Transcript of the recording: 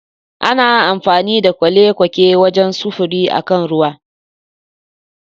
Ana amfani da kwale-kwake wajen sufuri a kan ruwa